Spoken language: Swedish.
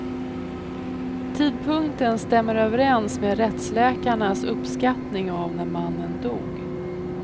Tidpunkten stämmer överens med rättsläkarnas uppskattning av när mannen dog.